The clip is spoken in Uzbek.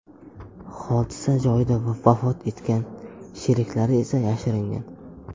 hodisa joyida vafot etgan, sheriklari esa yashiringan.